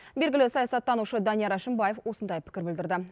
белгілі саясаттанушы данияр әшімбаев осындай пікір білдірді